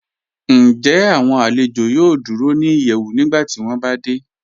Ǹjẹ́ awọn alẹ̀jọ yòò dúró ni ìyẹ́wù nígbàtí wọn bá dẹ̀?